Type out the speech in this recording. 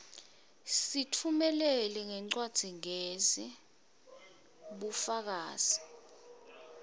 usitfumelela ngencwadzigezi bufakazi